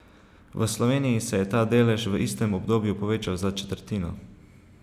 V Sloveniji se je ta delež v istem obdobju povečal za četrtino.